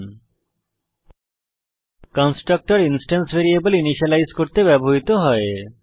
httpwwwspoken tutorialঅর্গ constructor instance variables initialise করতে ব্যবহৃত হয়